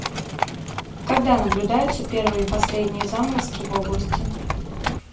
когда наблюдаются первые и последние заморозки в области